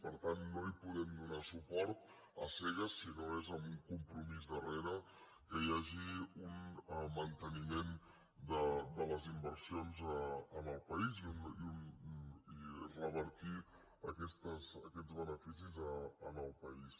per tant no hi podem donar suport a cegues si no és amb un compromís darrere que hi hagi un manteniment de les inversions al país i revertir aquests beneficis en el país